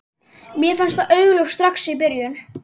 Mér fannst það augljóst strax í byrjun.